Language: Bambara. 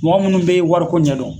Mɔgɔ munnu be wariko ɲɛdɔn